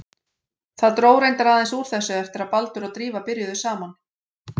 Það dró reyndar aðeins úr þessu eftir að Baldur og Drífa byrjuðu saman.